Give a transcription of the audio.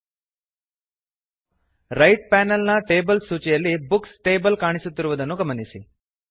right ಬಲಭಾಗದ panel ನ tables ಸೂಚಿಯಲ್ಲಿ ಬುಕ್ಸ್ ಟೇಬಲ್ ಕಾಣಿಸುತ್ತಿರುವುದನ್ನು ಗಮನಿಸಿ